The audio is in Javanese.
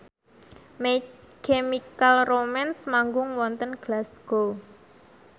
My Chemical Romance manggung wonten Glasgow